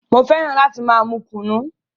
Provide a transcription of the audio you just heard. Mo fẹ́ràn láti máa mú kùnú.